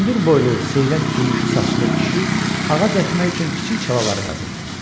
Hündür boylu, seyrək gümüşü saçlı kişi ağac əkmək üçün kiçik çalalar qazırdı.